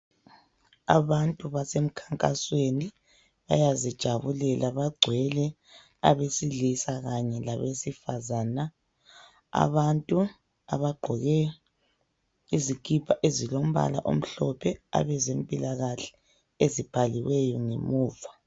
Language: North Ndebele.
Abantu basemkhankasweni bayazijabulela, bagcwele abesilisa kanye labesifazana. Abantu abagqoke izikipa ezilombala omhlophe abezempilakahle, ezibhaliweyo ngemuva.